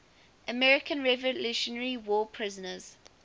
american revolutionary war prisoners